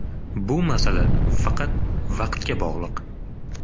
Bu masala faqat vaqtga bog‘liq!